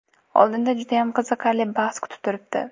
Oldinda judayam qiziqarli bahs kutib turibdi.